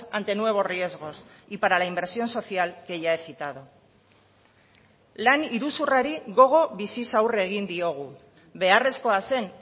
ante nuevos riesgos y para la inversión social que ya he citado lan iruzurrari gogo biziz aurre egin diogu beharrezkoa zen